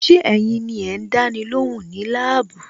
Ṣé ẹ̀yin ni ẹ ń dáni lóhùn ní labuu?